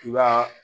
I b'a